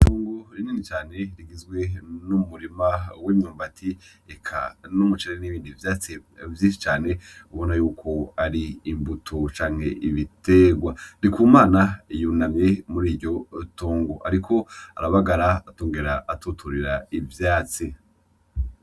Itongo rinini cane rigizwe n'umurima w'imyumbati eka n'umuceri n'ibindi vyatsi vyinshi cane ubona yuko ari imbuto canke ibitegwa. Ndikumana yunamye muriryotongo ariko arabagara akongera atuturira ivyatsi.